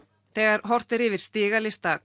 þegar horft er yfir stigalista